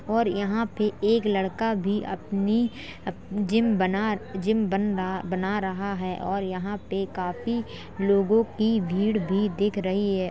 और यहाँ पे एक लड़का भी अपनी जिम बना जिम बन जिम बना रहा है और यहाँ पे काफी लोगो की भीड भी दिख रही है।